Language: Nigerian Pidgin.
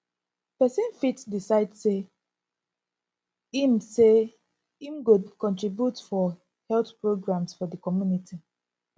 persin fit decide say im say im go contribute for health programmes for di community